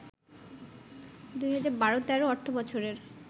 ২০১২-১৩ অর্থবছরের